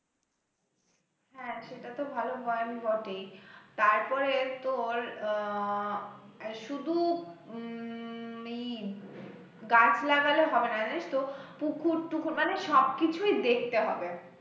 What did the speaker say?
হ্যাঁ সেটা তো ভালো হয় বটে, তারপরে তোর আহ শুধু উম গাছ লাগালে হবে না, জানিস তো পুকুর টুকুর মানে সব কিছুই দেখতে হবে।